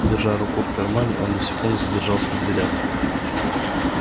держа руку в кармане он на секунду задержался в дверях